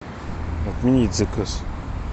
отменить заказ